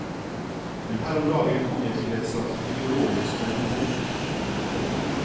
Men her om dagen kom jeg til et slags ideologisk vendepunkt. punktum